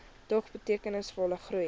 dog betekenisvolle groei